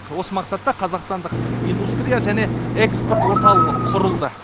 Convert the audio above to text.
осы мақсатта қазақстандық индустрия және экспорт орталығы құрылды